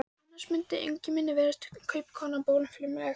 Annars mundi Ingimari virðast kaupakonan bólfimleg.